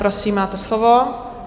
Prosím, máte slovo.